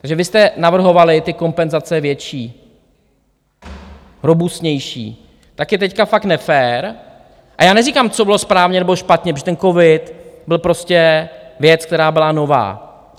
Takže vy jste navrhovali ty kompenzace větší, robustnější, tak je teď fakt nefér, a já neříkám, co bylo správně nebo špatně, protože ten covid byl prostě věc, která byla nová.